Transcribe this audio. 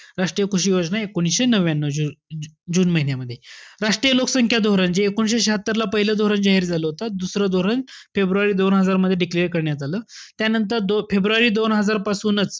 राष्ट्रीय कृषी योजना एकोणविशे नव्यान्यू जु~ जून महिन्यामध्ये. राष्ट्रीय लोकसंख्या धोरण, जे एकोणविशे शह्यात्तरला पाहिलं धोरण जाहीर झालं होतं. दुसरं धोरण फेब्रुवारी दोन हजार मध्ये declare करण्यात आलं. त्यानंतर फेब्रुवारी दोन हजार पासूनच,